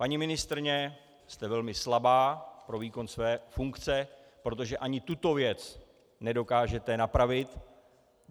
Paní ministryně, jste velmi slabá pro výkon své funkce, protože ani tuto věc nedokážete napravit.